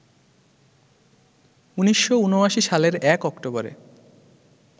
১৯৭৯ সালের ১ অক্টোবরে